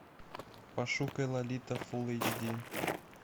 пошукай лолита фулл эйч ди